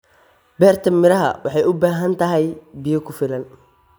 Beerta miraha waxay u baahan tahay biyo ku filan.